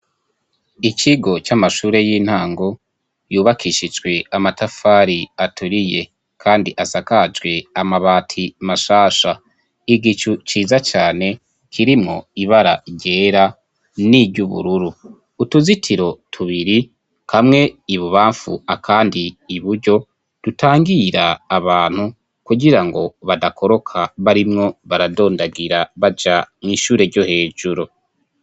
ikigo c'amashure y'intango yubakishijwe amatafari aturiye kandi asakajwe amabati mashasha. Igicu ciza cane kirimo ibara gera n'iry'ubururu .Utuzitiro tubiri kamwe ibubamfu akandi iburyo dutangira abantu kugirango badakoroka barimwo baradondagira baja mu ishure ryo hejuru.